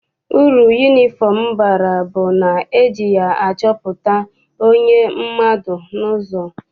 Uru yunifọm bara bụ na eji ya achọpụta onye mmadụ n'ụzọ.